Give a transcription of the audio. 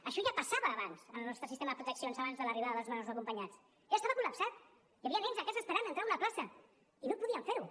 això ja passava abans en el nostre sistema de protecció abans de l’arribada dels menors no acompanyats ja estava col·lapsat hi havia nens a casa esperant entrar a una plaça i no podien fer ho